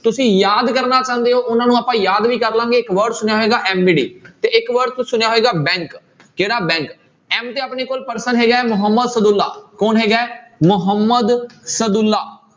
ਤੁਸੀਂ ਯਾਦ ਕਰਨਾ ਚਾਹੁੰਦੇ ਹੋ ਉਹਨਾਂ ਨੂੰ ਆਪਾਂ ਯਾਦ ਵੀ ਕਰ ਲਵਾਂਗੇ ਇੱਕ word ਸੁਣਿਆ ਹੋਏਗਾ MBD ਤੇ ਇੱਕ word ਤੁਸੀਂ ਸੁਣਿਆ ਹੋਏਗਾ bank ਕਿਹੜਾ bank m ਤੇ ਆਪਣੇ ਕੋਲ person ਹੈਗਾ ਹੈ ਮੁਹੰਮਦ ਸਦਉਲਾ ਕੌਣ ਹੈਗਾ ਹੈ, ਮੁਹੰਮਦ ਸਦਉਲਾ।